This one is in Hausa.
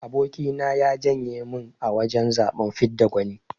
Aboki na ya janye min a wajan zaben fidda gwani.